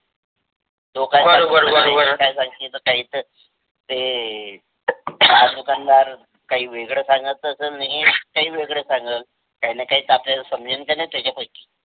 लोकायचं काहि त ते हा दुन्कांदार काही वेगळे सांगत असल, न हे काही वेगळ सांगाल काहीन काही त आपल्याला समजन का नही त्याचा पैकी.